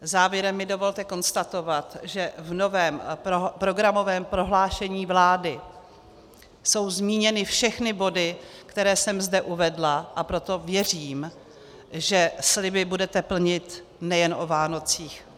Závěrem mi dovolte konstatovat, že v novém programovém prohlášení vlády jsou zmíněny všechny body, které jsem zde uvedla, a proto věřím, že sliby budete plnit nejen o Vánocích.